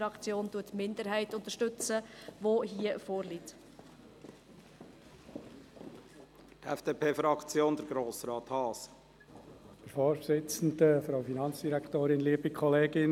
Doch unterstützt die grüne Fraktion den hier vorliegenden Antrag der Minderheit.